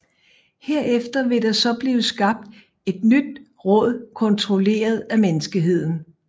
Herefter vil der så blive skabt et nyt råd kontrolleret af menneskeheden